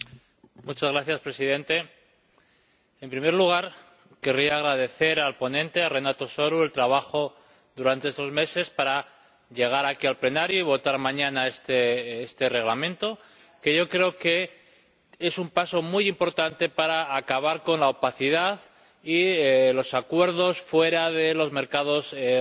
Señor Presidente, en primer lugar, querría agradecer al ponente, Renato Soru, el trabajo durante estos meses para llegar aquí, al Pleno, y votar mañana este Reglamento, que yo creo que es un paso muy importante para acabar con la opacidad y los acuerdos fuera de los mercados regulados.